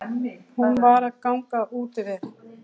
Hún var að ganga úti við.